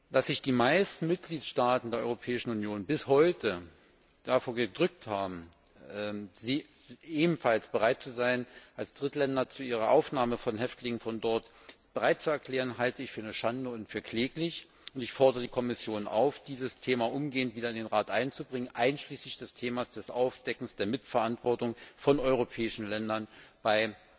Dass sich die meisten Mitgliedstaaten der Europäischen Union bis heute davor gedrückt haben, sich als Drittländer zur Aufnahme von Häftlingen aus Guantánamo bereitzuerklären, halte ich für eine Schande und für kläglich, und ich fordere die Kommission auf, dieses Thema umgehend wieder in den Rat einzubringen, einschließlich des Themas des Aufdeckens der Mitverantwortung von europäischen Ländern bei